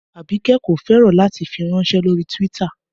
Abike ko fẹran lati firanṣẹ lori Twitter